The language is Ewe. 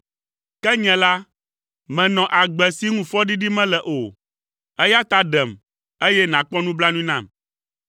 Ke nye la, menɔ agbe si ŋu fɔɖiɖi mele o, eya ta ɖem, eye nàkpɔ nublanui nam.